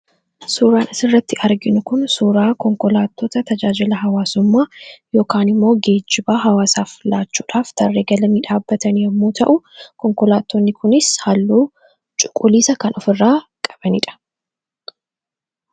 suuraanis irratti arginu kun suuraa konkolaattota tajaajila hawaasummaa yookaan immoo geejibaa hawaasaaflaachuudhaaf tarree galamiidhaabatan yommuu ta'u konkolaatotni kunis halluu cuquliisa kan of irraa qabaniidha